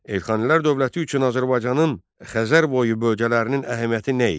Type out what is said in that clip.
Elxanilər dövləti üçün Azərbaycanın Xəzərboyu bölgələrinin əhəmiyyəti nə idi?